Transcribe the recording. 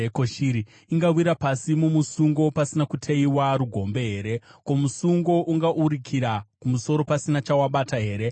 Ko, shiri ingawira pasi mumusungo pasina kuteyiwa rugombe here? Ko, musungo ungaurukira kumusoro pasina chawabata here?